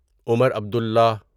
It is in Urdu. عمر عبدللہ